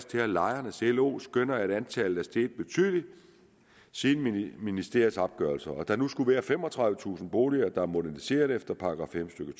til at lejernes lo skønner at antallet er steget betydeligt siden ministeriets opgørelser og at der nu skulle være femogtredivetusind boliger der er moderniseret efter § fem stykke